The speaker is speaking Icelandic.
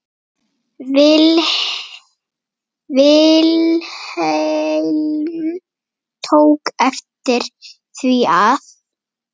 Vilhelm tók eftir því að